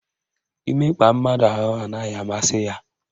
Imekpa mmadụ ahụ anaghị amasị ya.